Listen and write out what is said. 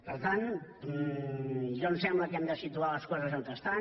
per tant a mi em sembla que hem de situar les coses on estan